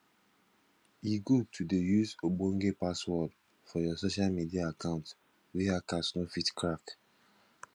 e good to dey use ogbonge password for your social media account wey hackers no fit crack